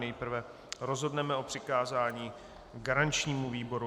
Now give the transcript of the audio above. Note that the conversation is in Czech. Nejprve rozhodneme o přikázání garančnímu výboru.